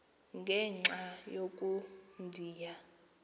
ngenxa yoko ndiya